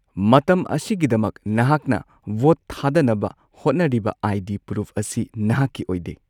ꯃꯇꯝ ꯑꯁꯤꯒꯤꯗꯃꯛ ꯅꯍꯥꯛꯅ ꯚꯣꯠ ꯊꯥꯗꯅꯕ ꯍꯣꯠꯅꯔꯤꯕ ꯑꯥꯏ.ꯗꯤ. ꯄ꯭ꯔꯨꯐ ꯑꯁꯤ ꯅꯍꯥꯛꯀꯤ ꯑꯣꯏꯗꯦ꯫